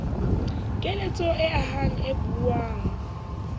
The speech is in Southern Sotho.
keletso e ahang e buang